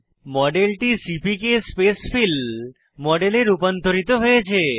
মডেলটি সিপিকে স্পেসফিল মডেলে রূপান্তরিত হয়েছে